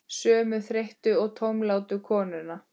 Sömu þreyttu og tómlátu konuna?